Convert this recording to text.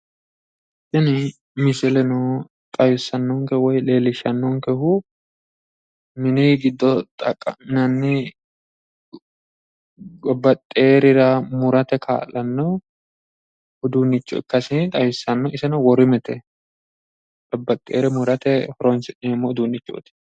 Tini misileno xawissannonke woyi leellishshannonkehu mini giddo xaqqa'minanni babbaxxiworira murate kaa'lanno uduunnicho ikkase xawissanno. Iseno worimete. Babbaxxiwore murate horoonsi'neemmo uduunnichooti.